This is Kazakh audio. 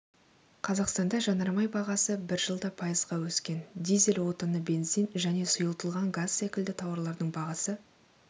қазақстанда жанармай бағасы бір жылда пайызға өскен дизель отыны бензин және сұйытылған газ секілді тауарлардың бағасы